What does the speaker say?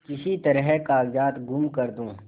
किसी तरह कागजात गुम कर दूँ